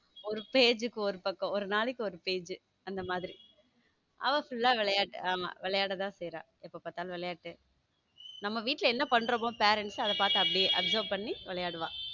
ஒரு ஒரு page க்கு ஒரு பக்கம் ஒரு நாளைக்கு ஒரு page அந்த மாதிரி அவ full ஆ விளையாட்டு ஆமா விளையாட தான் செய்றான் எப்ப பார்த்தாலும் விளையாட்டு நம்ம வீட்ல என்ன பண்றோமோ parents அத பாத்து அப்படியே observe பண்ணி விளையாடுவா.